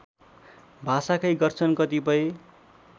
भाषाकै गर्छन् कतिपय